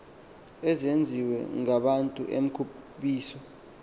ezenziwe ngabantu emkhubiso